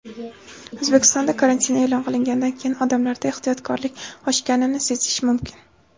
O‘zbekistonda karantin e’lon qilinganidan keyin odamlarda ehtiyotkorlik oshganini sezish mumkin.